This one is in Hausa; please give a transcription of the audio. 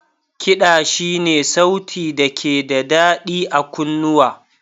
Kiɗa Shi ne sauti da ke da daɗi a kunnuwa.